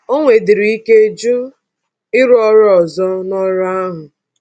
O nwedịrị ike jụ ịrụ ọrụ ọzọ na ọrụ ahụ